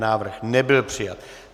Návrh nebyl přijat.